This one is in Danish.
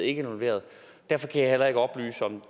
involveret derfor kan jeg heller ikke oplyse om